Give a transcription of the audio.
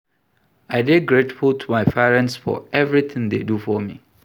I dey grateful to my parents for everything dey do for me